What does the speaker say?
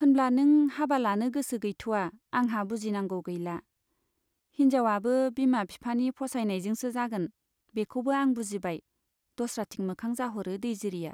होनब्ला नों हाबा लानो गोसो गैथ'आ आंहा बुजिनांगौ गैला। हिन्जाउवाबो बिमा बिफानि फसायनायजोंसो जागोन, बेखौबो आं बुजिबाय दस्राथिं मोखां जाह'रो दैजिरिया